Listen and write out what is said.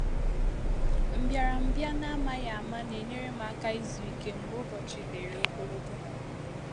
Mbịàrambịa n’ámàghị áma na-enyèrè m àkà ịzụ̀ íké mgbe Ụbọ́chí dịrị ogologo.